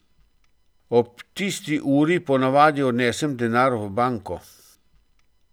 Ob tisti uri po navadi odnesem denar v banko.